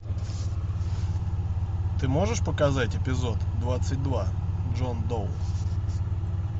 ты можешь показать эпизод двадцать два джон доу